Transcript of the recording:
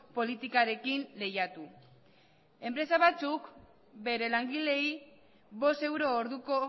politikarekin lehiatu enpresa batzuk bere langileei bost euro orduko